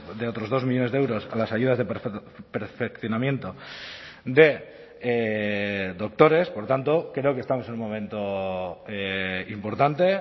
de otros dos millónes de euros a las ayudas de perfeccionamiento de doctores por tanto creo que estamos en un momento importante